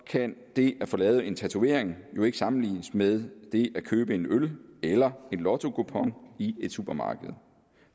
kan det at få lavet en tatovering jo ikke sammenlignes med det at købe en øl eller en lottokupon i et supermarked